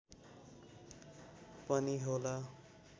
पनि होला